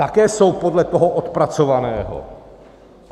Také jsou podle toho odpracovaného.